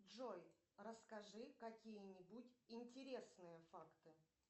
джой расскажи какие нибудь интересные факты